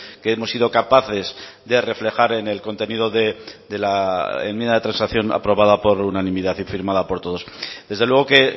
que hemos sido capaces de reflejar en el contenido de la enmienda de transacción aprobada por unanimidad y firmada por todos desde luego que